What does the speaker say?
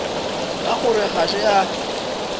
ka gore ga se a